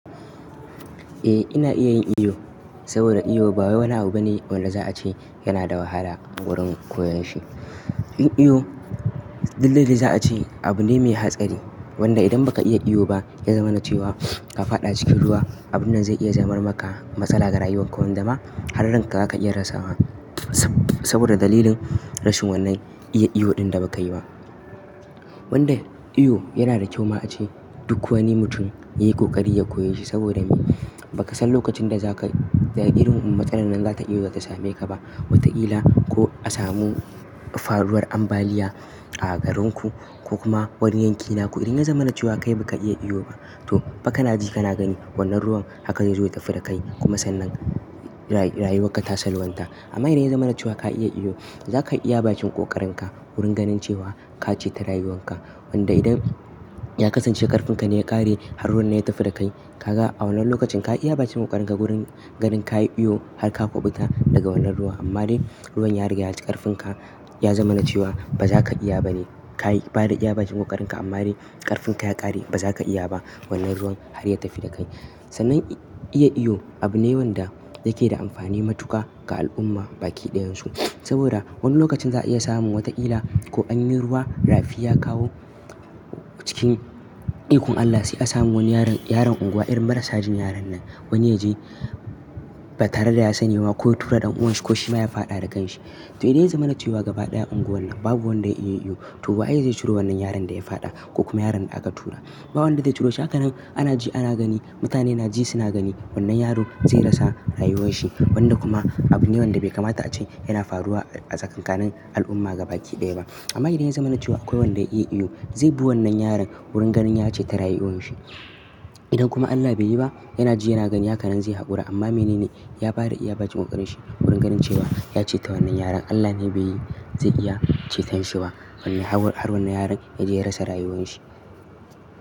Eh ina iya yin iyo saboda iyo ba wani abu bane wanda za a ce yana da wahala wurin koyon shi. Yin iyo lallai dai za'a ce abu ne mai hatsari wanda idan ba ka iya iyo ba ya zama na cewa ka fada cikin ruwa abun nan zai iya zama maka matsala ga rayuwarka wanda ma har ranka zaka iya rasa saboda dalilin rashin wannan iya iyo ɗin da ba ka yi ba. Wanda iyo yana da kyau ma a ce duk wani mutum yi kokari ya koyi shi saboda me? Ba ka san lokacin da za ka irin matsalar nan za kata iya ta same ka ba. Wataƙila ko a samu faruwar ambaliya a garinku ko kuma wurin yanki na ku idan ya zamana cewa kai ba ka iya iyo ba to ba ka na ji ka na gani wannan ruwan haka zai zo ya tafi da kai kuma sannan rayuwarka ta salwanta. Amma idan ya zamana cewa ka iya iyo za ka yi iya bakin ƙoƙarinka wurin ganin cewa ka ceta rayuwanka wanda idan ya kasance ƙarfinka ne ya ƙare har ruwan nan yatafi da kai kaga a wannan lokacin kayi iya bakin ƙoƙarinka wuringanin kayi iyo har ka kuɓuta daga wannan ruwan amman dai ruwan ya riga yaci karfinka ya zama na cewa ba za ka iya ba ne. Ka bada iya bakin ƙoƙarinka amma dai ƙarfin ka ya ƙare ba za ka iya ba wannan ruwan har ya tafi da kai. Sannan iya iyo abu ne wanda yake da amfani matuka ga al'umma baki ɗayansu. Saboda wani lokacin za a iya samun wataƙila ko anyi ruwa rafi ya kawo cikin ikon Allah sai a samu wani yaron, yaron unguwa, ƴar marasa jin yaron nan. Wani yaje ba tare da yasani ba ko ya tura ɗan uwanshi ko shima ya faɗa da kanshi to idan ya zama na cewa gaba ɗaya unguwar nan babu wanda ya iya yin iyo to wa ye zai ciro wannan yaron da ya faɗa ko kuma yaron da aka tura? Ba wanda zai ciro shi haka nan ana ji ana gani mutane na ji suna gani wannan yaro zai rasa rayuwar shi wanda kuma abu ne wanda bai kamata a ce yana faruwa a tsakanin al'umma gaba ɗaya ba. Amma idan ya zama na cewa akwai wanda ya iya iyo zai bi wannan yaron wurin ganin ya ceta rayuwar shi. Idan kuma Allah bai yi ba yana ji yana gani hakan zai haƙura amma mene ne? Ya bada iya bacin ƙoƙarin shi wurin ganin cewa ya ceta wannan yaron. Allah ne bai yi zai iya ceton shi ba har wannan yaron ya je ya rasa rayuwar shi.